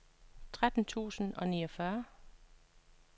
tretten tusind og niogfyrre